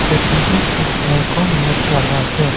कोटी पे दिखने को मिल रहा है।